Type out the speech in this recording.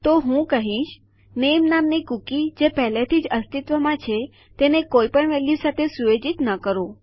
તો હું કહીશ નામે નામની કૂકી જે પહેલેથી અસ્તિત્વમાં છે તેને કોઈ પણ વેલ્યુ સાથે સુયોજિત ન કરો